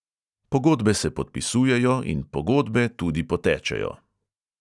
Pogodbe se podpisujejo in pogodbe tudi potečejo.